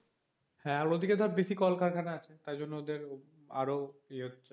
হ্যাঁ, অন্য দিকে ধর বেশি কলকারখানা আছে তাই জন্য ওদের আরো ইয়ে হচ্ছে,